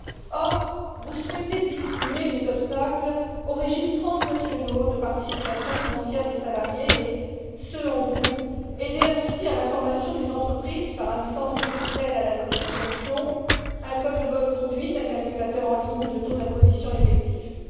Or, vous souhaitez diminuer les obstacles aux régimes transnationaux de participation financière des salariés et, selon vous, aider ainsi à la formation des entreprises par un centre virtuel de communication, un code de bonne conduite, un calculateur en ligne de taux d'imposition effectif, etc.